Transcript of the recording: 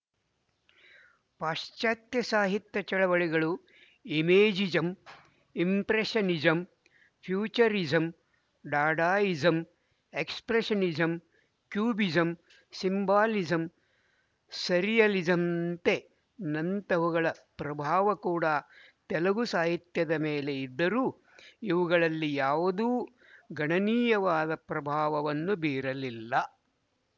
ಪಾಶಚಾತ್ಯ ಸಾಹಿತ್ಯ ಚಳವಳಿಗಳು imagism impressionism futurism dadaism expressionism cubism symbolism ಸರ್ರಿಯಲಿಜಂತೆ ನಂತಹವುಗಳ ಪ್ರಭಾವ ಕೂಡಾ ತೆಲುಗು